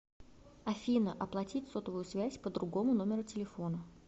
афина оплатить сотовую связь по другому номеру телефона